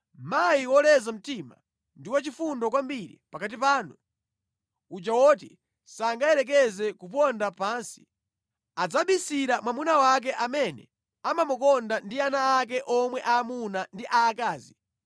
Mayi woleza mtima ndi wachifundo kwambiri pakati panu, uja woti sangayerekeze kuponda pansi, adzabisira mwamuna wake amene amamukonda ndi ana ake omwe aamuna ndi aakazi